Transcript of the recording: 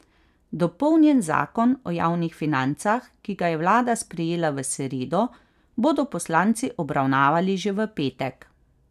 Dopolnjen zakon o javnih financah, ki ga je vlada sprejela v sredo, bodo poslanci obravnavali že v petek.